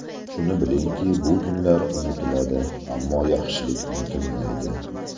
Shuni bilingki, bu kunlar unutiladi, ammo yaxshilik unutilmaydi!